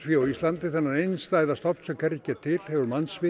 á Íslandi þennan einstæða stofn sem hvergi er til hefur